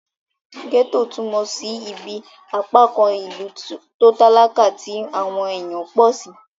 Gẹ́ẹ́tò túnmọ̀ sí ibí apákan ìlú tó talakà tí àwọn èèyàn pọ̀ sí